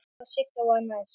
Kobbi og Sigga voru næst.